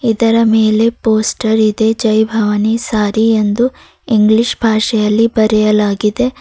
ಇದರ ಮೇಲೆ ಪೋಸ್ಟರ್ ಇದೆ ಜೈ ಭವಾನಿ ಸ್ಯಾರಿ ಎಂದು ಈ ಇಂಗ್ಲಿಷ್ ಭಾಷೆಯಲ್ಲಿ ಬರೆಯಲಾಗಿದೆ.